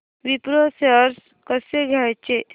Wipro shares कसे घ्यायचे